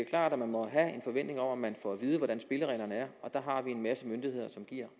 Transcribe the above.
klart at man må have en forventning om at man får at vide hvordan spillereglerne er og der har vi en masse myndigheder som giver